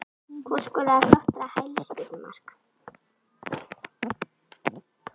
Hvor skoraði flottara hælspyrnu mark?